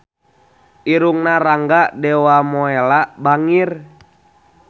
Irungna Rangga Dewamoela bangir